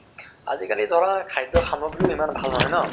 আজি কালি ধৰা খাদ্য় সাম্গ্ৰি ইমান ভাল নহয় ন